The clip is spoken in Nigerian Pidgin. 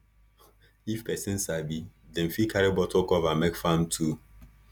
if pesin sabi dem fit carry bottle cover make farm tool